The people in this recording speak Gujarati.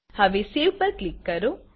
હવે Saveસેવપર ક્લિક કરો